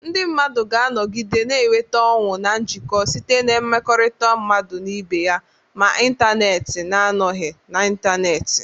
Ndị mmadụ ga-anọgide na-enweta ọṅụ na njikọ site na mmekọrịta mmadụ na ibe ya, ma n'ịntanetị na-anọghị n'ịntanetị.